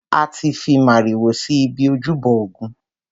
A ti fi màrìwò si ibi ojúbọ ògún.